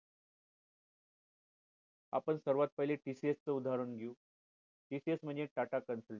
आपण सर्वात पहिले TCS चे उदाहरण घेऊ TCS म्हणजे tata consultancy